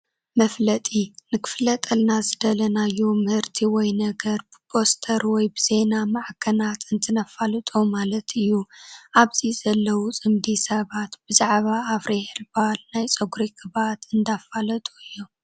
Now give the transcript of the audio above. መፋለጢ፡- ንኽፋለጠልና ዝደለናዮ ምህርቲ ወይ ነገር ብፖስተር ወይ ብዜና ማዕኸናት እንትነፋልጦ ማለት እዩ፡፡ ኣብዚ ዘለው ፅምዲ ሰባት ብዛዕባ አፍሪ ኸርባል ናይ ፀጉሪ ቅብኣት እንዳፋለጡ እዮም፡፡